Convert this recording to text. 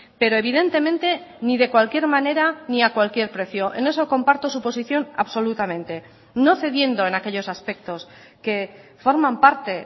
pero evidentemente ni de cualquier manera ni a cualquier precio en eso comparto su posición absolutamente no cediendo en aquellos aspectos que forman parte